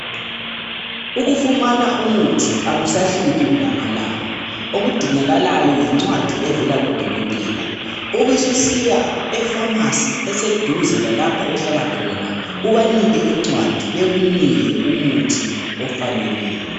Ukufumana umuthi akusahluphi kulamalanga okudingakalayo yincwadi evela kudokotela ubususiya efamasi eseduze lalapha ohlala khona ubanike incwadi bakunika umuthi ofaneleyo.